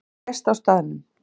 Hann lést á staðnum